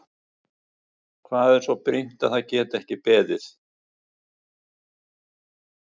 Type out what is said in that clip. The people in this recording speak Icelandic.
Hvað er svo brýnt að það geti ekki beðið?